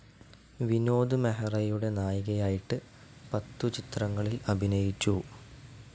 വിനോദ് മെഹ്റയുടെ നായികയായിട്ട് പത്തു ചിത്രങ്ങളിൽ അഭിനയിച്ചു.